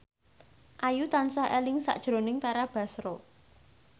Ayu tansah eling sakjroning Tara Basro